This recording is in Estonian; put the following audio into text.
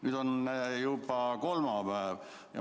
Nüüd on juba kolmapäev.